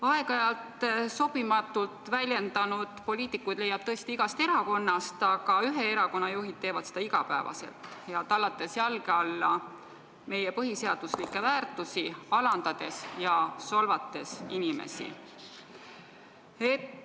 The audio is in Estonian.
Aeg-ajalt end sobimatult väljendanud poliitikuid leiab tõesti igast erakonnast, aga ühe erakonna juhid teevad seda pea iga päev, tallates jalge alla meie põhiseaduslikke väärtusi, alandades ja solvates inimesi.